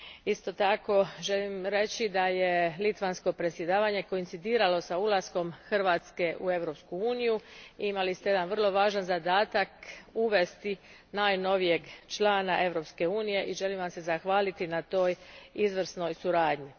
Isto tako, želim reći da je litavsko predsjedavanje koincidiralo s ulaskom Hrvatske u Europsku uniju i imali ste jedan vrlo važan zadatak uvesti najnovijeg člana Europske unije i želim vam se zahvaliti na toj izvrsnoj suradnji.